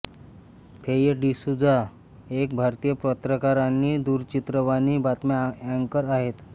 फेय डिसूझा एक भारतीय पत्रकार आणि दूरचित्रवाणी बातम्या अँकर आहेत